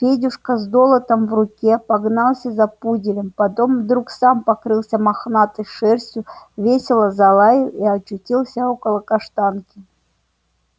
федюшка с долотом в руке погнался за пуделем потом вдруг сам покрылся мохнатой шерстью весело залаял и очутился около каштанки